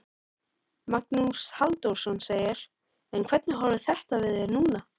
Magnús Halldórsson: En hvernig horfir þetta við þér núna?